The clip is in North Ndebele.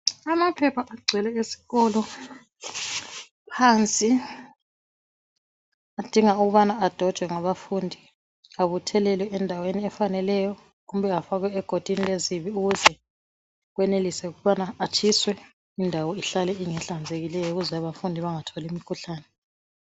Amaphepha agcwele esikolo phansi adinga ukubana adojwe ngabafundi abuthelelwe endaweni efaneleyo kumbe afakwe egodini lesibi ukuze enelise ukuthi atshiswe indawo ihlale ingehlanzekileyo ukwenzela ukuthi abafundi bangatholi imikhuhlane.